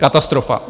Katastrofa.